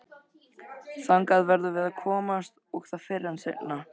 Þangað verðum við að komast og það fyrr en seinna.